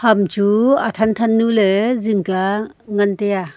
hamchu athan thanyu le jing kya ngan taiya.